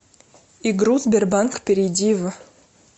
игру сбербанк перейди в